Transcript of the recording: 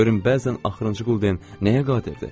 Görün bəzən axırıncı quldən nəyə qadirdir?